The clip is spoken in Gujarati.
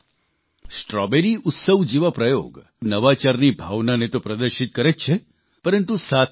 સાથીઓ સ્ટ્રોબેરી ઉત્સવ જેવા પ્રયોગ નવાચારની ભાવનાને તો પ્રદર્શિત કરે જ છે